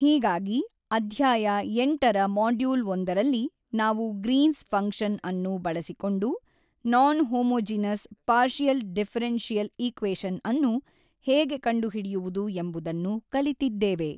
ಹೀಗಾಗಿ ಅಧ್ಯಾಯ ಎಂಟರ ಮಾಡ್ಯೂಲ್ ಒಂದರಲ್ಲಿ ನಾವು ಗ್ರೀನ್ಸ್ ಫಂಕ್ಷನ್ ನಅನ್ನು ಬಳಸಿಕೊಂಡು non homogeneous partial differential equation ಅನ್ನು ಹೇಗೆ ಕಂಡುಹಿಡಿಯುವುದು ಎಂಬುದನ್ನು ಕಲಿತಿದ್ದೇವೆ.